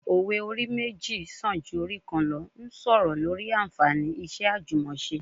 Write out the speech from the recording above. Òwe 'orí méjì sàn ju orí kan lọ' ń sọ̀rọ̀ lórí anfààní iṣẹ́ àjùmọse